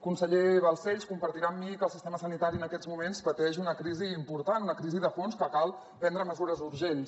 conseller balcells deu compartir amb mi que el sistema sanitari en aquests moments pateix una crisi important una crisi de fons en que cal prendre mesures urgents